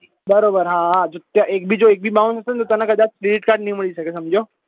બરોબર હા હા જો એક બી bounce તને કદાચ credit card નહિ મળશે સમજ્યો